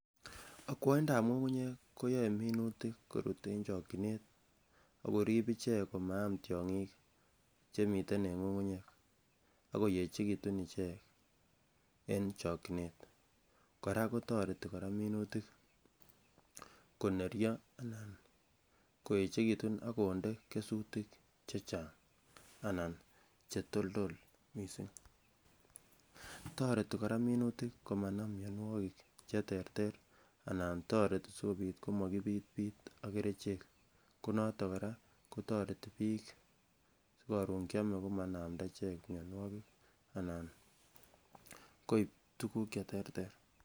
Okwoindab ng'ung'unyek koyoe minutik korut en chokyinet akorib ichek koriib ichek komaam tyongik chemiten eng ng'ung'unyek ako yechekitun ichek en chokyinet kora kotoreti minutik koneryo anan koechekitun akonde kesutik chechang anan chetoltol missing, toreti kora minutik komanam mionwogik cheterter anan toreti sikobit komokibitbit ak kerichek konoton kora kotoreti biik sikoron kiome komanamda ichek mionwogik anan koib tuguk cheterter